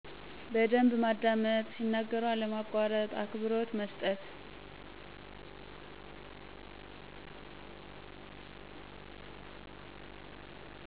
በደንብ ማዳመጥ፣ ሲናገሩ አለማቋረጥ፣ አክብሮት መስጠት።